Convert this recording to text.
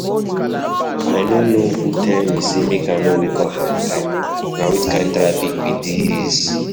I no know who tell me say make I no wake up on time. Na which kin traffic be dis?